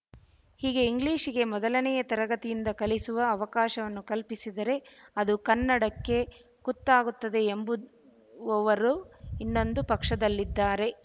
ಹೀಗೆ ಇಂಗ್ಲಿಶಿಗೆ ಮೊದಲನೆಯ ತರಗತಿಯಿಂದ ಕಲಿಸುವ ಅವಕಾಶವನ್ನು ಕಲ್ಪಿಸಿದರೆ ಅದು ಕನ್ನಡಕ್ಕೆ ಕುತ್ತಾಗುತ್ತದೆ ಎಂಬುದ್ ವವರು ಇನ್ನೊಂದು ಪಕ್ಷದಲ್ಲಿದ್ದಾರೆ